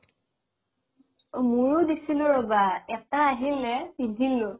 অ মোৰো দিছিলো ৰবা এটা আহিলে পিন্ধিলো